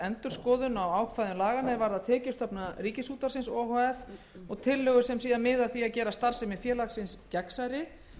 endurskoðun á ákvæðum laganna er varða tekjustofna ríkisútvarpsins o h f og tillögur sem miða að því að gera starfsemi félagsins gagnsærri